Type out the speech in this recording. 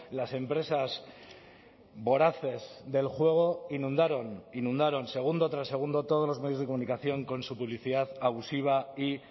las empresas voraces del juego inundaron inundaron segundo tras segundo todos los medios de comunicación con su publicidad abusiva y